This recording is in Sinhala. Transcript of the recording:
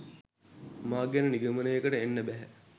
මා ගැන නිගමනයකට එන්න බැහැ.